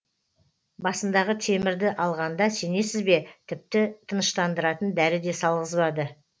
басындағы темірді алғанда сенесіз бе тіпті тыныштандыратын дәрі де салғызбады